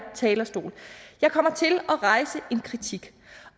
talerstol jeg kommer til at rejse en kritik